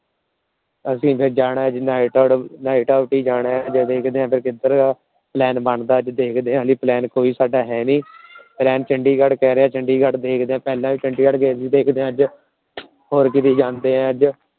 ਅਸੀਂ ਫਿਰ ਜਾਣਾ ਜਾ ਫਿਰ ਵੇਖਦੇ ਆ ਕਿਧਰ ਦਾ Plan ਬਣਦਾ। ਦੇਖਦੇ ਆ ਹਜੇ Plan ਸਾਡਾ ਕੋਈ ਹੈ ਨਹੀਂ। Friend ਚੰਡੀਗੜ੍ਹ ਕਹਿ ਰਿਹਾ ਪਹਿਲਾ ਚੰਡੀਗੜ੍ਹ ਦੇਖਦੇ ਅੱਜ ਹੋਰ ਕੀਤੇ ਜਾਂਦੇ ਆ ਅੱਜ